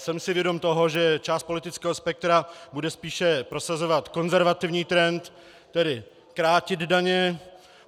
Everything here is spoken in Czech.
Jsem si vědom toho, že část politického spektra bude spíše prosazovat konzervativní trend, tedy krátit daně.